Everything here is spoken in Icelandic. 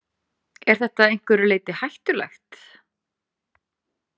Er þetta að einhverju leyti hættulegt?